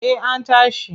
Eh an tashi.